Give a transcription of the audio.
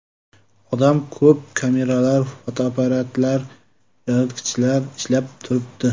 Odam ko‘p, kameralar, fotoapparatlar, yoritgichlar ishlab turibdi.